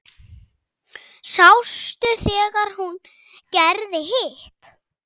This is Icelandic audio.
Sástu þegar hún gerði hitt?